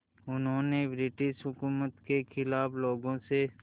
उन्होंने ब्रिटिश हुकूमत के ख़िलाफ़ लोगों से